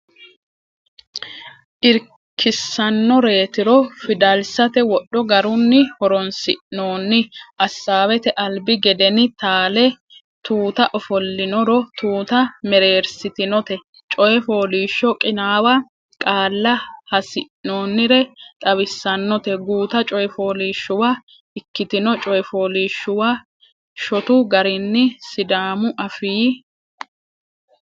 irkissannoreetiro Fidalsate wodho garunni horonsi noonni Assaawete albi gedeni taale Tuuta ofollinoro Tuuta mereersitinote Coy Fooliishsho Qinaawo Qaalla hasi noonnire xawissannote Guuta coy fooliishshuwa ikkitino Coy fooliishshuwa shotu garinni Sidaamu Afii.